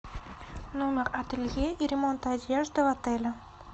номер ателье и ремонта одежды в отеле